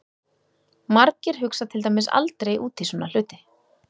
Margir hugsa til dæmis aldrei út í svona hluti!